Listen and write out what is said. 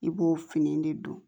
I b'o fini de don